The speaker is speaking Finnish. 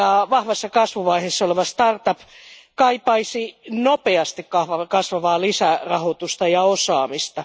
Vahvassa kasvuvaiheessa oleva startup yritys kaipaisi nopeasti kasvavaa lisärahoitusta ja osaamista.